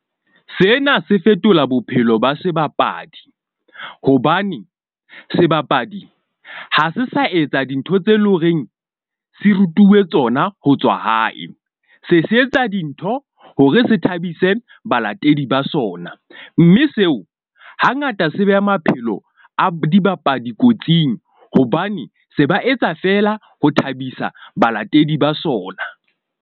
Sena se fetola bophelo ba sebapadi, hobane sebapadi ha se sa etsa dintho tse leng horeng se rutuwe tsona ho tswa hae. Se se etsa dintho hore se thabise balatedi ba sona mme seo hangata se beha maphelo a dibapadi kotsing. Hobane se ba etsa fela ho thabisa balatedi ba sona.